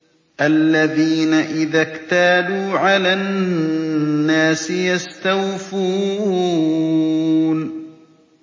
الَّذِينَ إِذَا اكْتَالُوا عَلَى النَّاسِ يَسْتَوْفُونَ